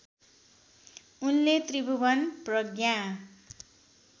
उनले त्रिभुवन प्रज्ञा